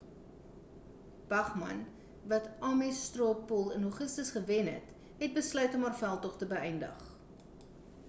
bachmann wat die ames straw poll in augustus gewen het het besluit om haar veldtog te beeïndig